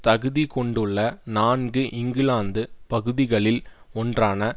தகுதி கொண்டுள்ள நான்கு இங்கிலாந்து பகுதிகளில் ஒன்றான